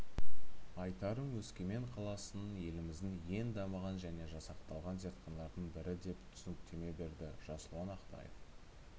айтарым өскемен қаласының еліміздің ең дамыған және жасақталған зертханалардың бірі деп түсініктеме берді жасұлан ақтаев